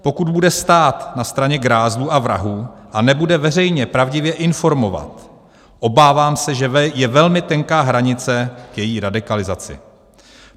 Pokud bude stát na straně grázlů a vrahů a nebude veřejně pravdivě informovat, obávám se, že je velmi tenká hranice k její radikalizaci.